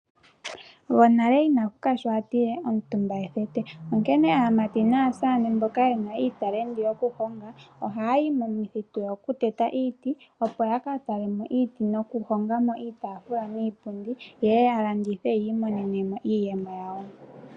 Gwonale ina puka sho atile omutumba ethete onkene aamati naasane mboka ye na iitalenti yokuhonga ohaya yi momuthitu okuteta iiti opo ya ya ka tale mo iiti nokuhonga mo iitafula niipundi yeye ya landithe yi imonene iiyemo yawo.